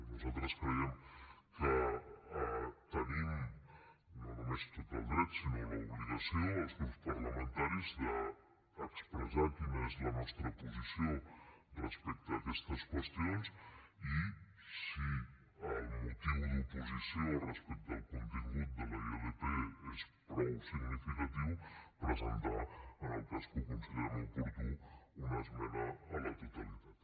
nosaltres creiem que tenim no només tot el dret sinó l’obligació els grups parlamentaris d’expressar quina és la nostra posició respecte a aquestes qüestions i si el motiu d’oposició respecte al contingut de la ilp és prou significatiu presentar en el cas que ho considerem oportú una esmena a la totalitat